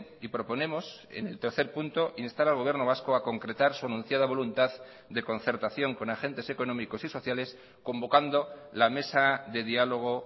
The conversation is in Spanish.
y proponemos en el tercer punto instar al gobierno vasco a concretar su anunciada voluntad de concertación con agentes económicos y sociales convocando la mesa de diálogo